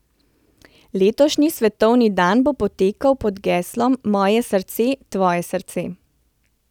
Letošnji svetovni dan bo potekal pod geslom Moje srce, tvoje srce.